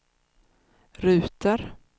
ruter